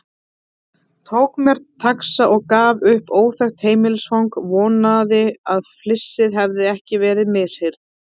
Tók mér taxa og gaf upp óþekkt heimilisfang, vonaði að flissið hefði ekki verið misheyrn.